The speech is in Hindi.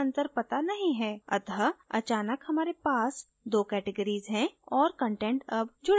अत: अचानक हमारे पास 2 categories हैं और कंटेंट अब जुडा हुआ नहीं है